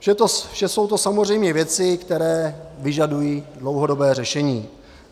Vše to jsou samozřejmě věci, které vyžadují dlouhodobé řešení.